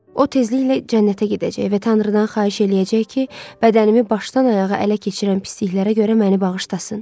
O tezliklə cənnətə gedəcək və Tanrıdan xahiş eləyəcək ki, bədənimi başdan ayağa ələ keçirən pisliklərə görə məni bağışlasın.